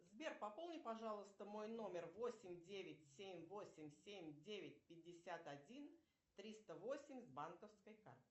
сбер пополни пожалуйста мой номер восемь девять семь восемь семь девять пятьдесят один триста восемь с банковской карты